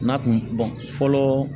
N'a kun fɔlɔ